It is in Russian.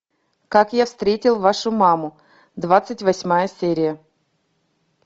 как я встретил вашу маму двадцать восьмая серия